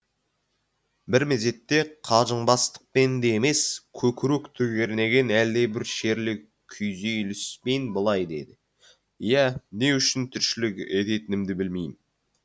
бір мезетте қалжыңбастықпен де емес көкіректі кернеген әлдебір шерлі күйзеліспен былай деді иә не үшін тіршілік ететінімді білмейм